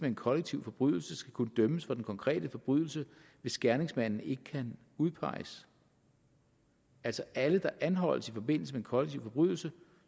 en kollektiv forbrydelse skal kunne dømmes for den konkrete forbrydelse hvis gerningsmanden ikke kan udpeges altså alle der anholdes i forbindelse med den kollektive forbrydelse